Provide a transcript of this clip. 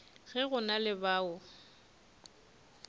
ge go na le bao